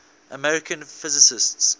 american physicists